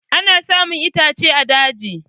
Ana samun itace a daji.